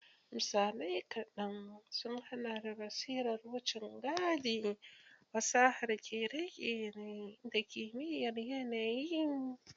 Misalai kaɗan sun haɗa da basirar wucin gadi, fasahar kere-kere, da kimiyyar yanayi.